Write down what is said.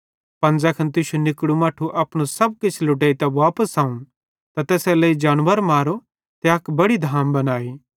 पन ज़ैखन तुश्शू निकड़ू मट्ठू अपनू सब किछ लुटेइतां वापस अव त तैसेरेलेइ अक बड़ी धाम बनाई